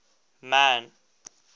man